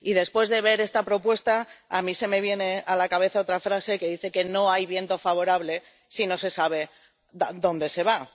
Y después de ver esta propuesta, a mí se me viene a la cabeza otra frase que dice que No hay viento favorable si no se sabe dónde se va.